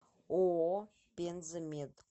ооо пенза мед